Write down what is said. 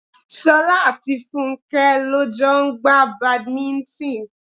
Ṣolá àti Fúnké lọ jọ ń gba Badminton.